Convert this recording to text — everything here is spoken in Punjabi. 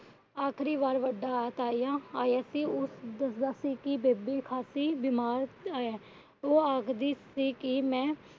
ਆਖਰੀ ਵਾਰ ਵੱਡਾ ਤਾਇਆ ਆਇਆ ਸੀ। ਉਹ ਦੱਸਦਾ ਸੀ ਕਿ ਬੇਬੇ ਖਾਸੀ ਬਿਮਾਰ ਹੈ। ਉਹ ਆਖਦੀ ਸੀ ਕਿ ਮੈ